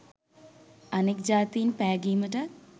අනික් ජාතීන් පැගීමටත්